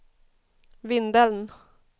Vindeln